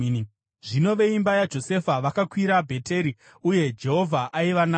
Zvino veimba yaJosefa vakarwisa Bheteri, uye Jehovha aiva navo.